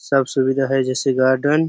सब सुविधा है जैसे गार्डन --